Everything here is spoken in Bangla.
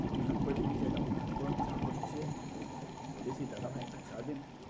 তারপর দেখেছি একদম গরম গরম চা করছে বলেছি দাদাভাই একটা চা দিন।